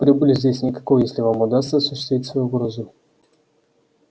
прибыли здесь никакой если вам удастся осуществить свою угрозу